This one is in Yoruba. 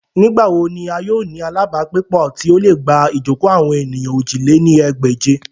Nigbawo ni a yoo ni alabagbepo ti o le gba ijoko awon eniyan ojì lé ní ẹgbẹ́je?